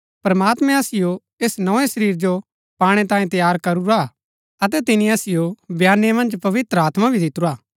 प्रमात्मैं असिओ ऐस नोए शरीर जो पाणै तांयें तैयार करूरा हा अतै तिनी असिओ बयाने मन्ज पवित्र आत्मा भी दितुरा हा